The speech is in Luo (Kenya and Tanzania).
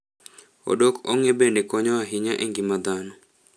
Odokong'e bende konyo ahinya e ngima dhano.